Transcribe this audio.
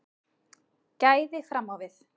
Gæði fram á við